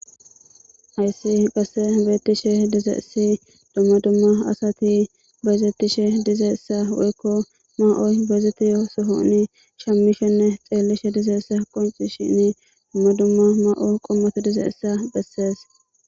Hayssa bessan beetishe dizayssi asi dumma dumma miishati bayzetishe dizaysanne woykko asati maa7o shammishene xeellishe dizayssa qoncisishin dumma dumma ma7oy dizayssa besees.